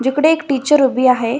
जिकडे एक टीचर उभी आहे.